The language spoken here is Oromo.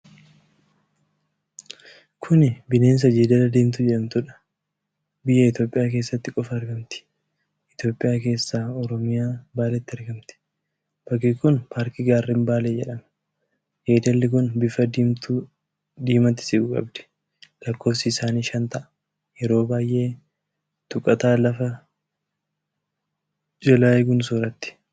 Kuni bineensa Jeedala Diimtuu jedhamtuudha. Biyya Itoophiyaa keessatti qofa argamti. Itoophiyaa keessaa Oromiyaa, Baaleetti argamti. Bakki kun paarkii Gaarrewwan Baalee jedhama. Jeedalli kun bifa diimatti siqu qabdi. lakkoofsi isaanii shan ta'a. Yeroo baay'ee tuqataa lafa jalaa eeguun sooratti.